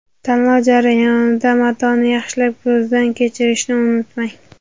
Tanlov jarayonida matoni yaxshilab ko‘zdan kechirishni unutmang.